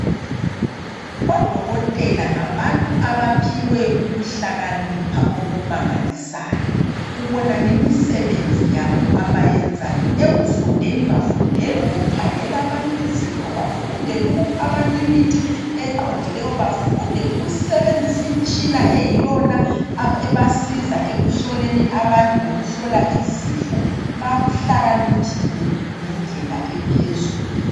Odokotela ngabantu abaphiweyo ukuhlakanipha okumangalisayo ubona ngemisebenzi yabo abayenzayo ekufundeni bafundela ukukhangela abantu izifo bafundele ukupha abantu imithi eqondileyo bafundela ukusebenzisa imtshina eyiyona ebasiza ekuhloleni abantu lokuhlola izifo bahlakaniphile ngendlela ephezulu.